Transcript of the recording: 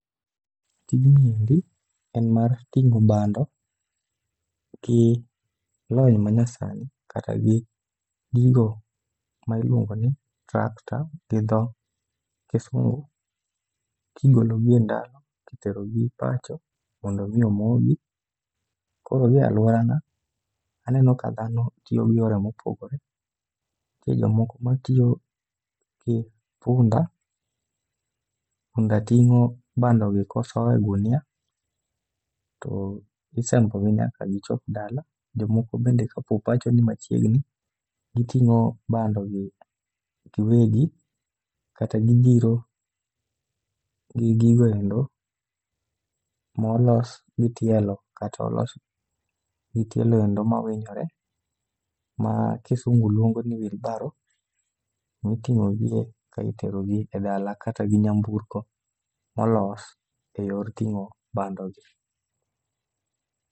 Tijni endi en mar ting'o bando gi lony manyasani kata gi gigo ma ilwongo ni tractor gi dho kisungu kigologi e ndalo kiterogi pacho mondo odhi omogi. Koro gi e alworana, aneno ka dhano tiyo gi yore mopogore . Nitie jomoko matiyo gi punda. Punda ting'o bandogi kosoye ogunia, to isembogi nyaka gichop dala. Jomoko bende kapo pacho ni machiegni, giting'o bandogi giwegi kata gidhiro gi gigo endo molos gi tielo kata olos gi tielo endo mawinjore ma kisungu lwongo ni wheelbarrow miting'o gie ka iterogi e dala kata gi nyamburko molos e yor ting'o bandogi.